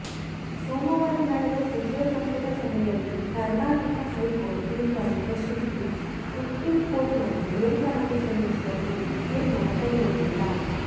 ಸೋಮವಾರ ನಡೆದ ಸಚಿವ ಸಂಪುಟ ಸಭೆಯಲ್ಲಿ ಕರ್ನಾಟಕ ಹೈಕೋರ್ಟ್ ತೀರ್ಪನ್ನು ಪ್ರಶ್ನಿಸಿ ಸುಪ್ರೀಂಕೋರ್ಟ್ನಲ್ಲಿ ಮೇಲ್ಮನವಿ ಸಲ್ಲಿಸುವ ಕುರಿತು ತೀರ್ಮಾನ ಕೈಗೊಂಡಿಲ್ಲ